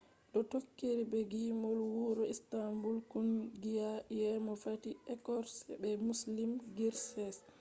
do tokkiri be gimol wuro istanbul kungiya yeemo fatih erkoç be müslüm gürses